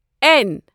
N